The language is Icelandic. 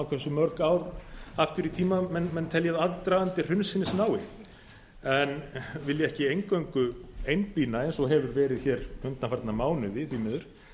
hversu mörg ár aftur í tímann menn telja að aðdragandi hrunsins nái en vilji ekki eingöngu einblína eins og hefur verið hér undanfarna mánuði því miður